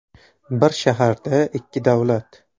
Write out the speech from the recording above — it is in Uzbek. Bir shaharda ikki davlat.